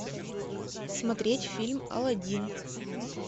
смотреть фильм аладдин